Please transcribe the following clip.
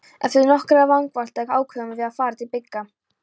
Eftir nokkrar vangaveltur ákváðum við að fara til Bigga.